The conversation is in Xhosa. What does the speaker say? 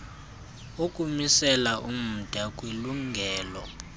ukumisela umda kwilungelo